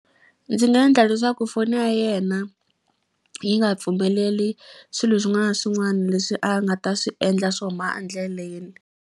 Ndzi nga endla leswaku foni ya yena yi nga pfumeleli swilo swin'wana na swin'wana leswi a nga ta swi endla swo huma endleleni.